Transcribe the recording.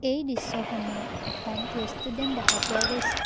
এই দৃশ্যখনত এখন ৰেষ্টোৰেন্ত দেখা পোৱা গৈছে।